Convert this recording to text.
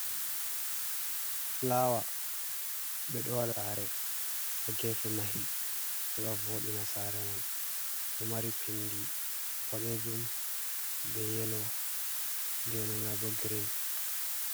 Flawa ɓe ɗo wada ha gefe mahi heɓa voɗina sare man ɗo mari pindi boɗejum be yelo be green.